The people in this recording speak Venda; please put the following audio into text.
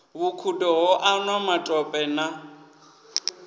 vhukhudo ho anwa matope na